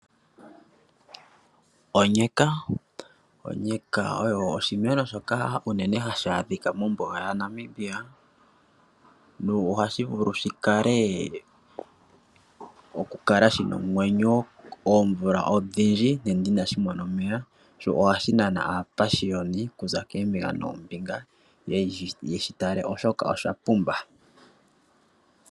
Onyeka, onyeka oyo oshimeno shoka unene hashi adhika mombuga yaNamibia no ohashi vulu shi kale, okukala shina omwenyo oomvula odhindji nande ina shimona omeya sho oha shinana aapashiyoni kuza koombinga noombinga ye shi tale oshoka osha pumba.